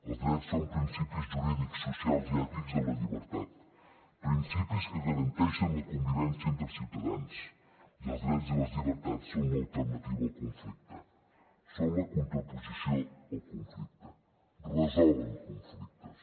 els drets són principis jurídics socials i ètics de la llibertat principis que garanteixen la convivència entre ciutadans i els drets i les llibertats són l’alternativa al conflicte són la contraposició al conflicte resolen conflictes